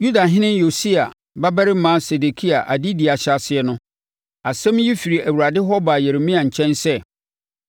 Yudahene Yosia babarima Sedekia adedie ahyɛaseɛ no, asɛm yi firi Awurade hɔ baa Yeremia nkyɛn sɛ,